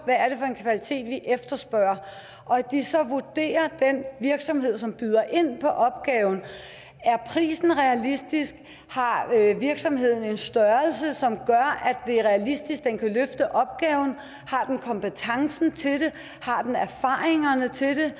hvad efterspørger og at de så vurderer den virksomhed som byder ind på opgaven er prisen realistisk har virksomheden en størrelse som gør at det er realistisk at den kan løfte opgaven har den kompetencen til det har den erfaringerne til det